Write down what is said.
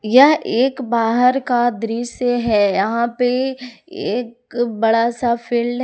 यह एक बाहर का दृश्य है यहां पे एक बड़ा सा फील्ड है।